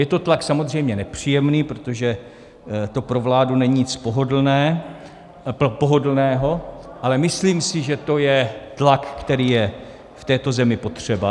Je to tlak samozřejmě nepříjemný, protože to pro vládu není nic pohodlného, ale myslím si, že to je tlak, který je v této zemi potřeba.